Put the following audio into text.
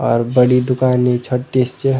और बड़ी दुकान नी छ्वोट्टी स च।